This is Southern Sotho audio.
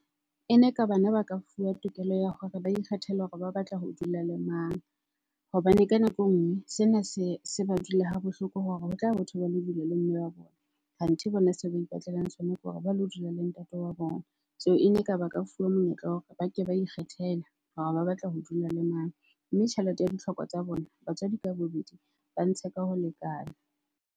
Ene ka bana ba ka fuwa tokelo ya hore ba ikgethele hore ba batla ho dula le mang. Hobane ka nako e nngwe sena se, se ba dula ha bohloko hore ho tla bo thwe ba lo dula le mme wa bona kanthe bona se ba ipatlelang sona ke hore ba lo dula le ntate wa bona. Seo ene ka ba ka fuwa monyetla wa hore ba ke ba ikgethele hore ba batla ho dula le mang. Mme tjhelete ya ditlhoko tsa bona, batswadi ka bobedi ba ntshe ka ho lekana.